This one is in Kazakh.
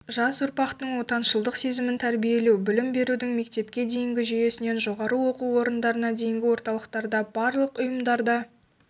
жас ұрпақтың отаншылдық сезімін тәрбиелеу білім берудің мектепке дейінгі жүйесінен жоғары оқу орындарына дейінгі орталықтарда барлық ұйымдарда